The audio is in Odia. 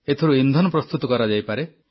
ଏଥିରୁ ଇନ୍ଧନ ପ୍ରସ୍ତୁତ କରାଯାଇପାରେ